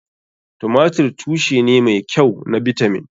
Tumatir tushe ne mai kyau na bitamin.